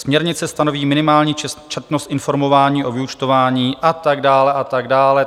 Směrnice stanoví minimální četnost informování o vyúčtování" a tak dále a tak dále.